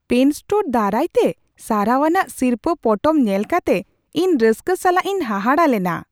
PAN store ᱫᱟᱨᱟᱭᱛᱮ ᱥᱟᱨᱦᱟᱣᱟᱱᱟᱜ ᱥᱤᱨᱯᱟᱹ ᱯᱚᱴᱚᱢ ᱧᱮᱞ ᱠᱟᱛᱮ ᱤᱧ ᱨᱟᱹᱥᱠᱟᱹ ᱥᱟᱞᱟᱜ ᱤᱧ ᱦᱟᱦᱟᱲᱟᱜ ᱞᱮᱱᱟ ᱾